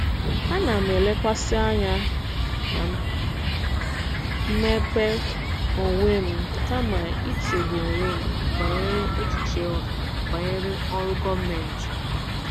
Ana m elekwasị anya na mmepe onwe m kama ichegbu onwe m banyere echiche ọha banyere ọrụ gọọmentị.